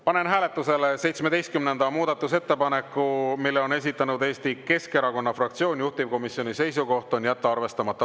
Panen hääletusele 17. muudatusettepaneku, mille on esitanud Eesti Keskerakonna fraktsioon, juhtivkomisjoni seisukoht on jätta arvestamata.